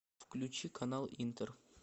включи канал интер